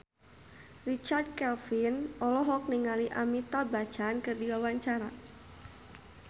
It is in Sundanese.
Richard Kevin olohok ningali Amitabh Bachchan keur diwawancara